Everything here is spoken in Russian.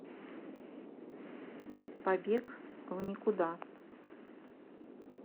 побег в никуда